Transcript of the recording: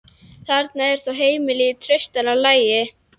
Þarna eru þó heimildir í traustara lagi.